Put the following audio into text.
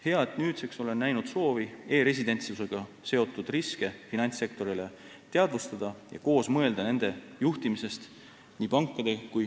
Hea, et nüüdseks olen näinud nii pankade kui ka ministeeriumide soovi e-residentsusega seotud riske finantssektorile teadvustada ja koos mõelda nende juhtimisest.